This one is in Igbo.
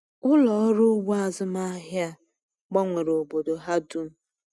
Ụlọ ọrụ ugbo azụmahịa a gbanwere obodo ha dum.